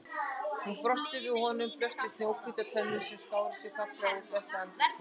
Hún brosti og við honum blöstu snjóhvítar tennur sem skáru sig fallega úr dökku andlitinu.